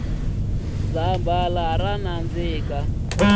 zambhala ra nandzika